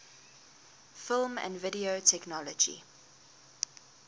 film and video technology